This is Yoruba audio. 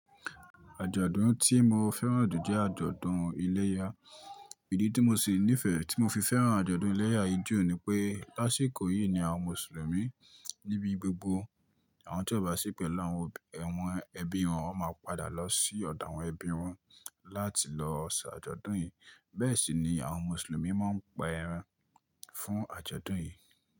Àjọ̀dún tí mo fẹ́ràn jù jẹ́ àjọ̀dún iléyá. Ìdí tí mo sì nífẹ̀ẹ́ tí mo fi fẹ́ràn àjọ̀dún iléyá ju ni pé lásìkò yìí ni àwọn Mùsùlùmí níbi gbogbo, àwọn tí o bá sì pẹ̀lú àwọn ẹbí wọn ó máa padà lọ sí ọ̀dọ̀ àwọn ẹbí wọn láti lọ sẹ̀ àjọ̀dún yìí. Bẹ́ẹ̀ sì ni àwọn Mùsùlùmí máa ń pa ẹran fún àjọ̀dún yìí.